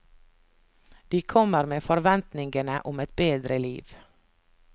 De kommer med forventningene om et bedre liv.